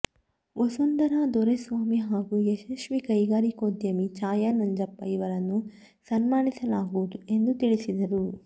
ವಸುಂಧರಾ ದೊರೆಸ್ವಾಮಿ ಹಾಗೂ ಯಶಸ್ವಿ ಕೈಗಾರಿಕೋದ್ಯಮಿ ಛಾಯಾ ನಂಜಪ್ಪ ಇವರನ್ನು ಸನ್ಮಾನಿಸಲಾಗುವುದು ಎಂದು ತಿಳಿಸಿದರು